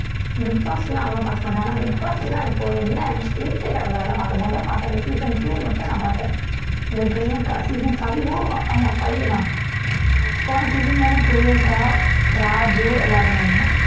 big Boss எல்லாம் அவ்வளவா பார்க்க மாட்டேன் ஆனா பிக் பாஸ் எல்லாம் இப்போ என்ன irritate ஆகுது அதெல்லாம் பார்க்கும் போது முதல் பார்த்தேன் season two மட்டும் நான் பார்த்தேன் இந்த பிரியங்கா season five வும் ஆமாம் five தான் போன season தானே பிரியங்கா, ராஜு எல்லாரும் இருந்தாங்க